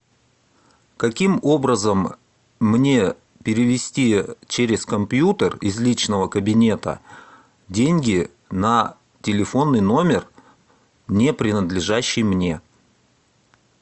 каким образом мне перевести через компьютер из личного кабинета деньги на телефонный номер не принадлежащий мне